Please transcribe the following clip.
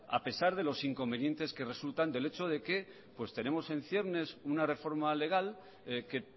a pesar de los inconvenientes que resultan del hecho de que tenemos en ciernes una reforma legal que